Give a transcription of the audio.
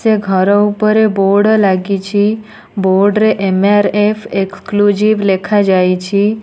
ସେ ଘର ଉପରେ ବୋର୍ଡ ଲାଗିଛି ବୋର୍ଡ ରେ ଏ_ମ_ଆର୍_ଏଫ୍ ଏକ୍ସକ୍ଲୁଜିଭ ଲେଖାଯାଇଛି।